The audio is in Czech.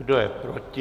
Kdo je proti?